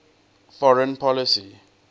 foreign policy